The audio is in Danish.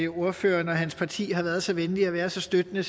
ordføreren og hans parti har været så venlige at være så støttende